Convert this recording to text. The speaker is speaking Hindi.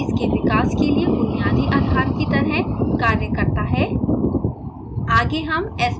ये सिद्धांत इसके विकास के लिए बुनियादी आधार की तरफ कार्य करता है